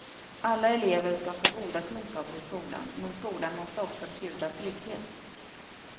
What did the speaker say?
Alla elever ska få goda kunskaper i skolan, men skolan måste också bjuda trygghet.